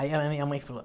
Aí a minha mãe falou...